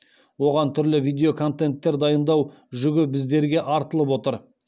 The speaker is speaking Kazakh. оған түрлі видеоконтенттер дайындау жүгі біздерге артылып отыр